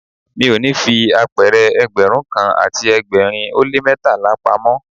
Mi ò ní fi apẹ̀rẹ̀ Ẹgbẹ̀rún kan àti ẹgbẹ̀rin ó lé ní mẹ́tàlá pamọ́.